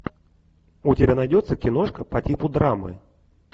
у тебя найдется киношка по типу драмы